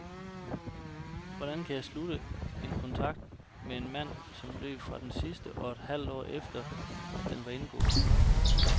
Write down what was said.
Hvordan kan jeg slutte en kontrakt med en mand, som løb fra den sidste kun et halvt år efter, at den var indgået?